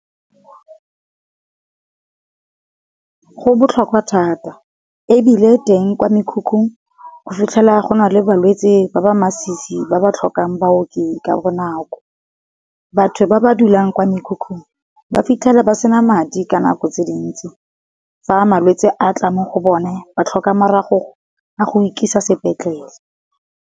Go botlhokwa thata, ebile teng kwa mekhukhung o fitlhela go na le balwetse ba ba masisi ba ba tlhokang baoki ka bonako. Batho ba ba dulang kwa mekhukhung ba fitlhela ba sena madi ka nako tse dintsi, fa malwetse a tla mo go bone ba tlhoka maragogo a go ikisa sepetlele.